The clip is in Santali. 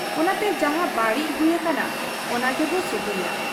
ᱚᱱᱟᱛᱮ ᱡᱟᱦᱟᱸ ᱵᱟᱹᱲᱤᱡ ᱦᱩᱭ ᱟᱠᱟᱱᱟ, ᱚᱱᱟᱜᱮᱵᱚ ᱥᱩᱦᱤᱭᱟ ᱾